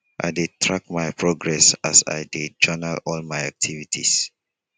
i dey track my progress as i dey journal all my activities.